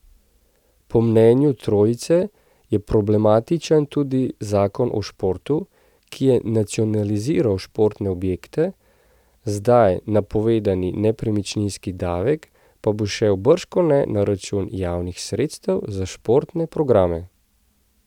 Po mnenju trojice je problematičen tudi zakon o športu, ki je nacionaliziral športne objekte, zdaj napovedani nepremičninski davek pa bo šel bržkone na račun javnih sredstev za športne programe.